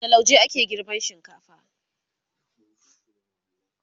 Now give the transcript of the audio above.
da lauje ake girban shinkafa